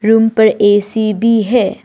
Room पर AC भी है।